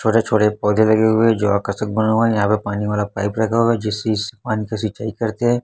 छोटे छोटे पौधे लगे हुए है जो आकर्षक बना हुआ है यहां पे पानी वाला पाइप लगा हुआ है जिस स पानी का सिंचाई करते है।